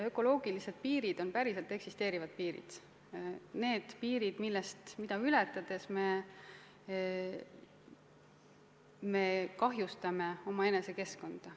Ökoloogilised piirid on päriselt eksisteerivad piirid – need piirid, mida ületades me kahjustame omaenese keskkonda.